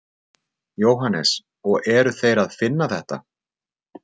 Jóhannes: Og þeir eru að finna þetta?